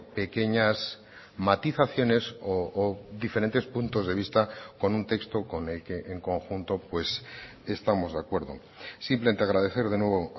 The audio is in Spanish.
pequeñas matizaciones o diferentes puntos de vista con un texto con el que en conjunto pues estamos de acuerdo simplemente agradecer de nuevo